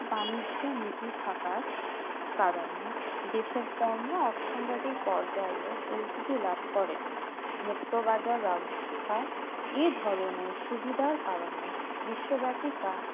বাণিজ্য নীতি থাকার কারণে দেশের পর্ণ অথনৈতিক পর্যায় ও পরিচিতি লাভ করে মুক্ত বাজার ব্যবস্থা এই ধরণে সুবিধার কারণে বিশ্বব্যাপী তা